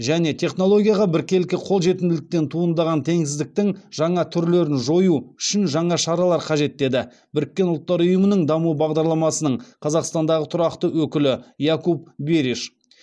және технологияға біркелкі қол жетімділіктен туындаған теңсіздіктің жаңа түрлерін жою үшін жаңа шаралар қажет деді біріккен ұлттар ұйымының даму бағдарламасының қазақстандағы тұрақты өкілі якуп бериш